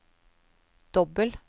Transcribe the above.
dobbel